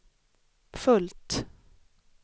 fullt